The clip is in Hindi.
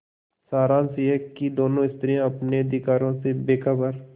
सारांश यह कि दोनों स्त्रियॉँ अपने अधिकारों से बेखबर